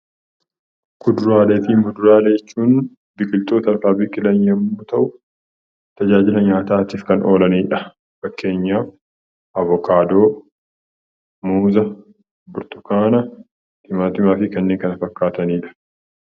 Kuduraalee fi muduraalee jechuun biqiltoota lafaa biqilan yommuu ta'u, tajaajila nyaataatiif kan oolanii dha. Fakkeenyaaf, abokaadoo, muuza, burtukaana, timaatimaa fi kanneen kana fakkaatanii dha.